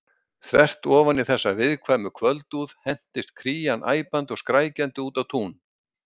Þvert ofan í þessa viðkvæmu kvöldúð hentist Krían æpandi og skrækjandi út á tún.